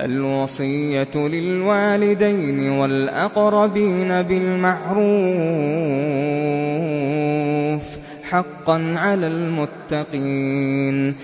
الْوَصِيَّةُ لِلْوَالِدَيْنِ وَالْأَقْرَبِينَ بِالْمَعْرُوفِ ۖ حَقًّا عَلَى الْمُتَّقِينَ